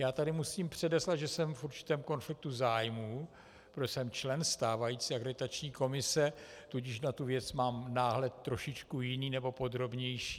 Já tady musím předeslat, že jsem v určitém konfliktu zájmů, protože jsem člen stávající Akreditační komise, tudíž na tu věc mám náhled trošičku jiný, nebo podrobnější.